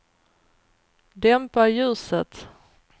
dämpa ljuset